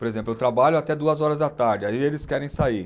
Por exemplo, eu trabalho até duas horas da tarde, aí eles querem sair.